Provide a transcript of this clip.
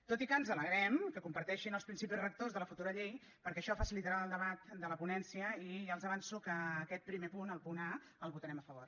tot i que ens alegrem que comparteixin els principis rectors de la futura llei perquè això facilitarà el debat de la ponència i ja els avanço que aquest primer punt el punt a el votarem a favor